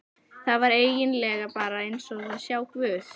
Það var eigin lega bara eins og að sjá guð.